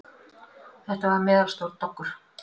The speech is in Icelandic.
Þetta var meðalstór doggur.